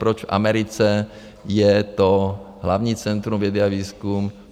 Proč v Americe je to hlavní centrum vědy a výzkumu?